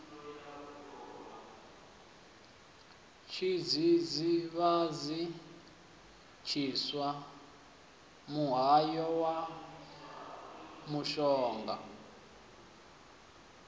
tshidzidzivhadzi tshiswa muhayo na mushonga